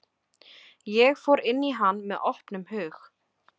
Ég fór inn í hann með opnum hug.